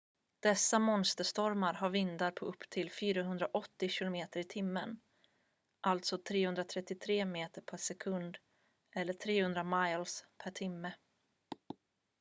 dessa monsterstormar har vindar på upp till 480 km/h 133 m/s; 300 miles/h